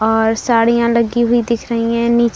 और साड़ियां लगी हुई दिख रही हैं नीचे --